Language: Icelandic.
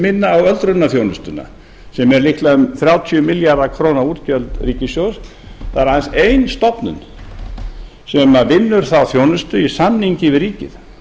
á öldrunarþjónustuna sem er líklega um þrjátíu milljarða króna útgjöld ríkissjóðs það er aðeins ein stofnun sem vinnur þá þjónustu í samningi við ríkið